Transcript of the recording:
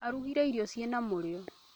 Arugire irio cina mũrio